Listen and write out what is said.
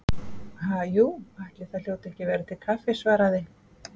Ha, jú, ætli það hljóti ekki að vera til kaffi- svaraði